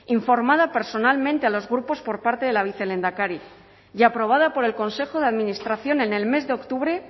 informada personalmente a los grupos por parte de la vicelehendakari y aprobada por el consejo de administración en el mes de octubre